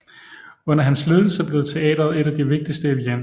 Under hans ledelse blev teatret et af de vigtigste i Wien